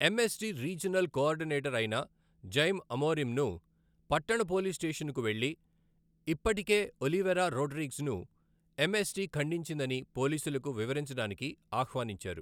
MST regional coordinator అయిన Jaime అమోరిమ్ను పట్టణ పోలీస్ స్టేషన్కు వెళ్లి, ఇప్పటికే ఒలివెరా రోడ్రిగ్స్ను ఎంఎస్టి ఖండించిందని పోలీసులకు వివరించడానికి ఆహ్వానించారు.